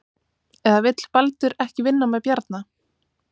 Eða vill Baldur ekki vinna með Bjarna?